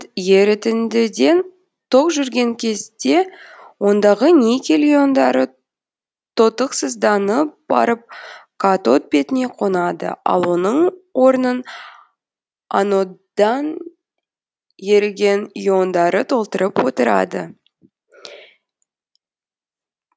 ерітіндіден ток жүрген кезде ондағы никель иондары тотықсызданып барып катод бетіне қонады ал оның орнын анодан еріген иондары толтырып отырады